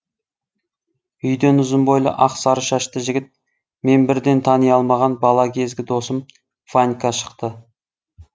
үйден ұзын бойлы ақ сары шашты жігіт мен бірден тани алмаған бала кезгі досым ванька шықты